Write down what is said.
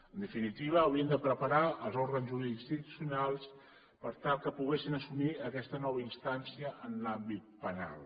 en definitiva haurien de preparar els òrgans jurisdiccionals per tal que poguessin assumir aquesta nova instància en l’àmbit penal